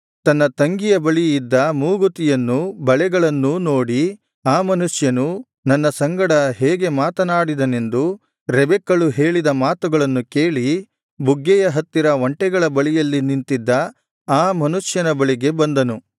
ತನ್ನ ತಂಗಿಯ ಬಳಿ ಇದ್ದ ಮೂಗುತಿಯನ್ನೂ ಬಳೆಗಳನ್ನೂ ನೋಡಿ ಆ ಮನುಷ್ಯನು ನನ್ನ ಸಂಗಡ ಹೇಗೆ ಮಾತನಾಡಿದನೆಂದು ರೆಬೆಕ್ಕಳು ಹೇಳಿದ ಮಾತುಗಳನ್ನು ಕೇಳಿ ಬುಗ್ಗೆಯ ಹತ್ತಿರ ಒಂಟೆಗಳ ಬಳಿಯಲ್ಲಿ ನಿಂತಿದ್ದ ಆ ಮನುಷ್ಯನ ಬಳಿಗೆ ಬಂದನು